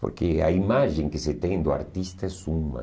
Porque a imagem que se tem do artista és uma.